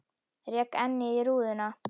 Rek ennið í rúðuna.